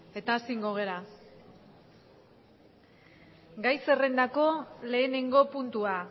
eta asin gogera gai zerrendako lehenengo puntua